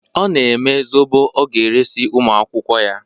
Ọ na-eme zobo ọ ga-eresi ụmụ akwụkwọ ya.